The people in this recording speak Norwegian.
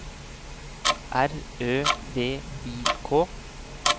R Ø V I K